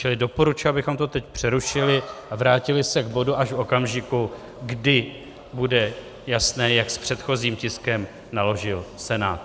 Čili doporučuji, abychom to teď přerušili a vrátili se k bodu až v okamžiku, kdy bude jasné, jak s předchozím tiskem naložil Senát.